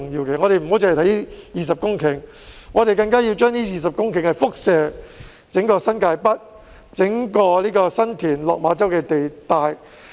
我們不應只着眼於這20公頃土地，還要以這20公頃土地輻射至整個新界北，包括新田、落馬洲的地帶。